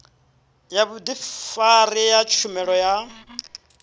ya vhudifari ya tshumelo ya